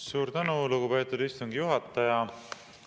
Suur tänu, lugupeetud istungi juhataja!